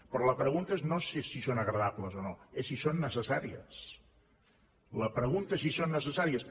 però la pregunta no és si són agradables o no és si són necessà ries la pregunta és si són necessàries